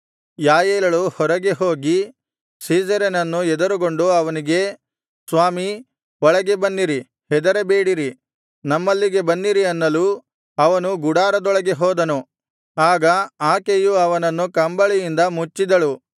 ಯಾಯೇಲಳು ಹೊರಗೆ ಹೋಗಿ ಸೀಸೆರನನ್ನು ಎದುರುಗೊಂಡು ಅವನಿಗೆ ಸ್ವಾಮೀ ಒಳಗೆ ಬನ್ನಿರಿ ಹೆದರಬೇಡಿರಿ ನಮ್ಮಲ್ಲಿಗೆ ಬನ್ನಿರಿ ಅನ್ನಲು ಅವನು ಗುಡಾರದೊಳಗೆ ಹೋದನು ಆಗ ಆಕೆಯು ಅವನನ್ನು ಕಂಬಳಿಯಿಂದ ಮುಚ್ಚಿದಳು